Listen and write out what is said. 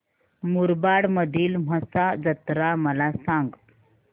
मुरबाड मधील म्हसा जत्रा मला सांग